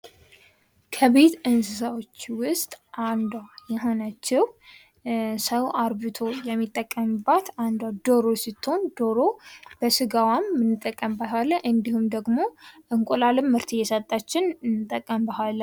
ከቤት እንስሳዎች ውስጥ አንዷ የሆነችው ሰው አርብቶ የሚጠቀምባት አንዷ ዶሮ ስትሆን በስጋዋም እንጠቀምባታለን እንዲሁም ደግሞ እንቁላልም ምርት እየሰጠችን እንጠቀምባታለን።